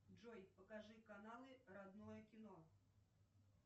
джой покажи каналы родное кино